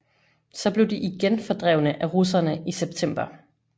Så blev de igen fordrevne af russerne i september